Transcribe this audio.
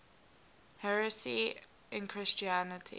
heresy in christianity